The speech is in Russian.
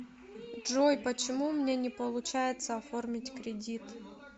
джой почему у меня не получается оформить кредит